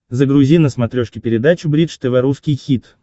загрузи на смотрешке передачу бридж тв русский хит